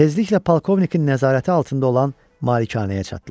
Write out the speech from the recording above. Tezliklə polkovnikin nəzarəti altında olan malikanəyə çatdılar.